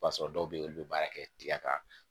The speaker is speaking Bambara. O b'a sɔrɔ dɔw bɛ yen olu bɛ baara kɛ tiga kan